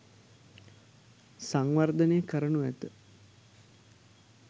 සංවර්ධනය කරනු ඇත